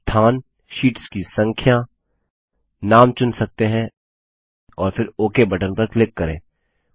आप स्थान शीट्स की संख्या नाम चुन सकते हैं और फिर ओक बटन पर क्लिक करें